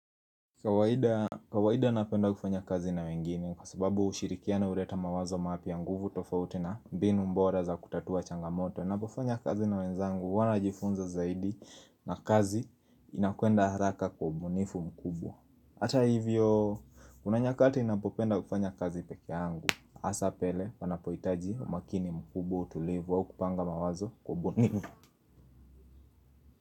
Kawaida kawaida napenda kufanya kazi na wengine kwa sababu ushirikiano huleta mawazo mapya nguvu tofauti na mbinu bora za kutatua changamoto ninapofanya kazi na wenzangu huwa najifunza zaidi na kazi inakwenda haraka kwa ubunifu mkubwa Hata hivyo kuna nyakati ninapopenda kufanya kazi peke yangu hasa pale wanapohitaji umakini mkubwa utulivu au kupanga mawazo kwa ubunifu.